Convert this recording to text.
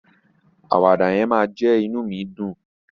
Àwàdà yẹn máa jẹ́ inú mi dùn.